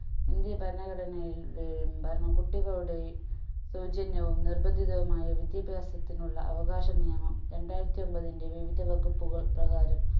India ഭരണഘടനയിൽ ഏർ ഉണ്ടായിരുന്ന കുട്ടികളുടെയും സൗജന്യവും നിർബന്ധിതവുമായ വിദ്യാഭ്യാസത്തിനുള്ള അവകാശ നിയമം രണ്ടായിരത്തി ഒമ്പതിന്റെ വിവിധ വകപ്പുകൾ പ്രകാരം